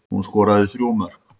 Hún skoraði þrjú mörk